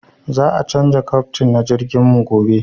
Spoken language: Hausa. Za a canja kaftin na jirgin mu gobe